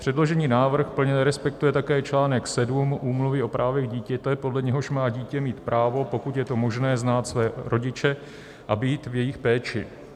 Předložený návrh plně nerespektuje také článek 7 Úmluvy o právech dítěte, podle něhož má dítě mít právo, pokud je to možné, znát své rodiče a být v jejich péči.